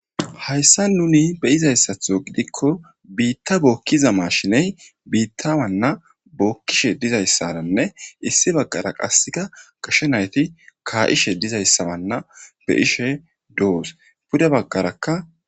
Hayisan nuni beizayisaton gidikko bitta bokiza mashine bita mana bokishe dizayisaranne issi bagara qaseka gashe nayiti kaishe dizayisa mala deishe dosona pude bagaraka.